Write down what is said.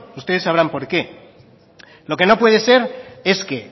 ustedes sabrán por qué lo que no puede ser es que